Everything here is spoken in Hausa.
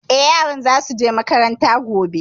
Eh, yaran za su je makaranta gobe